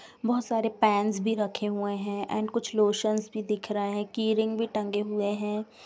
बहोत सारे पेन्स भी रखे हुए है एन्ड कुछ लोशनस भी दिख रहे है कीरिंग भी टंगे हुए है।